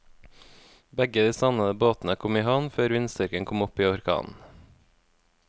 Begge de savnede båtene kom i havn før vindstyrken kom opp i orkan.